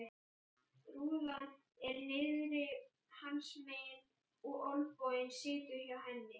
Rúðan er niðri hans megin og olnboginn situr á henni.